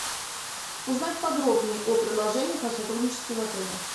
узнать подробнее о предложениях о сотрудничестве в отеле